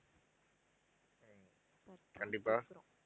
ஹம் கண்டிப்பா